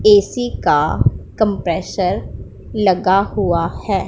AC का compressor लगा हुआ है।